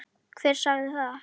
Hver sagði það?